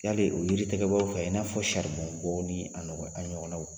Yali o yiri tigɛbaaw fɛ i n'a fɔ saribɔn bɔ ni a nɔgɔ a ɲɔgɔnnaw